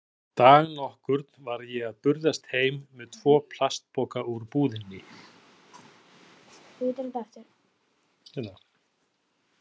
Dag nokkurn var ég að burðast heim með tvo plastpoka úr búðinni.